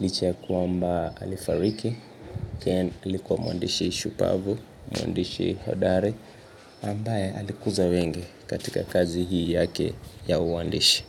licha ya kwamba alifariki Ken alikuwa mwandishi shupavu mwandishi hodari ambaye alikuza wengi katika kazi hii yake ya uandishi.